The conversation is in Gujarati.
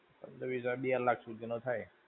પંદર-વિસ હજાર માં બે લાખ સુધી નો થાય.